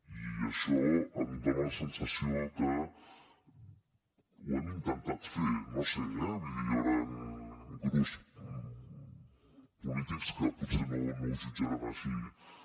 i això em dona la sensació que ho hem intentat fer no ho sé eh hi hauran grups polítics que potser no ho jutjaran així